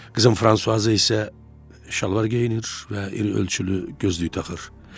Qızım Fransuaza isə şalvar geyinir və iri ölçülü gözlük taxır.